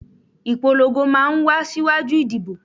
Ìpolongo máa ń wá síwájú ìdìbò